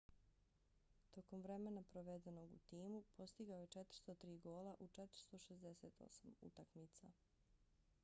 tokom vremena provedenog u timu postigao je 403 gola u 468 utakmica